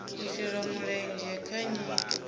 u shela mulenzhe kha nyito